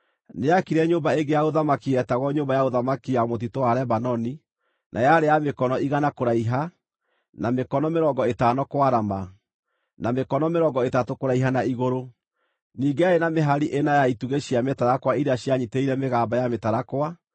Nĩaakire nyũmba ĩngĩ ya ũthamaki yetagwo Nyũmba ya Ũthamaki ya Mũtitũ wa Lebanoni, na yarĩ ya mĩkono igana kũraiha, na mĩkono mĩrongo ĩtano kwarama, na mĩkono mĩrongo ĩtatũ kũraiha na igũrũ. Ningĩ yarĩ na mĩhari ĩna ya itugĩ cia mĩtarakwa iria cianyiitĩrĩire mĩgamba ya mĩtarakwa.